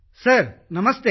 sir ನಮಸ್ತೆ